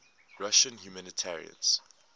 russian humanitarians